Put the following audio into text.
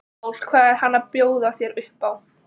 Páll: Hvað er hann að bjóða þér upp á?